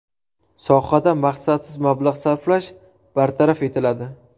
Sohada maqsadsiz mablag‘ sarflash bartaraf etiladi.